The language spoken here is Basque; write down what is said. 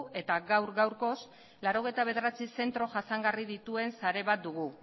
eta gaur gaurkoz laurogeita bederatzi zentro jasangarri dituen zentro bat dugu